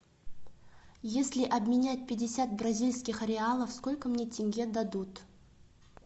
если обменять пятьдесят бразильских реалов сколько мне тенге дадут